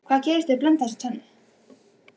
Hvað gerist ef þú blandar þessu tvennu saman?